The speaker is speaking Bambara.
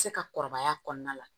Se ka kɔrɔbaya kɔnɔna la